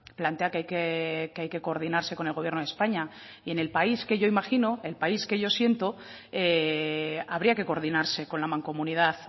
plantea que hay que coordinarse con el gobierno de españa y en el país que yo imagino el país que yo siento habría que coordinarse con la mancomunidad